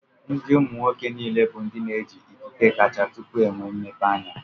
Ndị umu nwoke niile bụ ndi n'eji ikike kacha tupu enwe mmepeanya